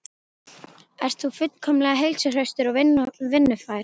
Ert þú fullkomlega heilsuhraustur og vinnufær?